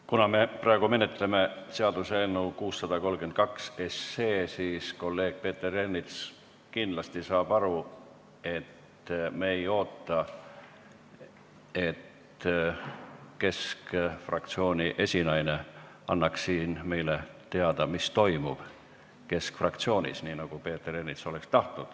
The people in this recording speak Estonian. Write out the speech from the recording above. Kuna me praegu menetleme seaduseelnõu 632, siis kolleeg Peeter Ernits kindlasti saab aru, et me ei oota, et Keskerakonna fraktsiooni esinaine annaks siin meile teada, mis nende fraktsioonis toimub, kuigi Peeter Ernits seda ehk tahaks.